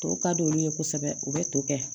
Tɔw ka d'olu ye kosɛbɛ u bɛ to kɛ